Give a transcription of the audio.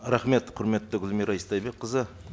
рахмет құрметті гүлмира истайбекқызы